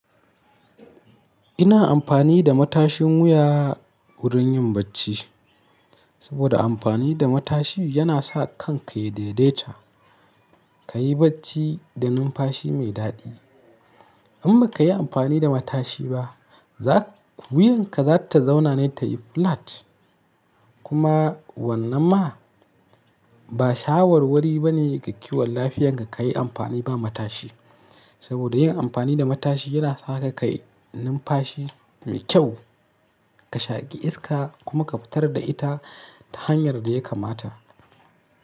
Ina amfani da matashin wuya wurin yin bacci saboda amfani da matashin yana sa kanka ya daidaita, ka yi bacci da numfashi mai daɗi. In ba ka yi amfani da matashi ba, wuyanka za ta zauna ne ta yi flat. Kuma wannan ma ba shawarwari bane ga kiwon lafiyar ka ka yi amfani ba matashi. Saboda yin amfani da matashi yana sa ka kai numfashi mai kyau, ka shaƙi iska kuma ka fitar da ita ta hanyar da ya kamata.